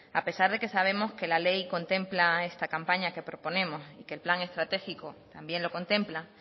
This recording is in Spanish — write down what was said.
a pesar de que sabemos que la ley contempla esta campaña que proponemos y que el plan estratégico también lo contempla